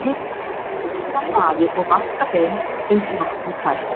Hef stökur af baði og vaska þeim uns vatn er tært.